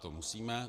To musíme.